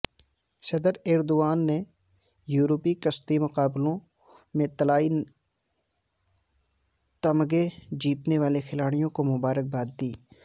صدر ایردوان نے یورپی کشتی مقابلوں میں طلائی تمغے جیتنے والے کھلاڑیوں کو مبارکباد دی